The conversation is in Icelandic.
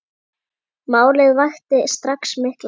Málið vakti strax mikla reiði.